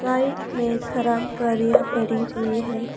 Side में खराब गाड़ियां पड़ी हुई हैं।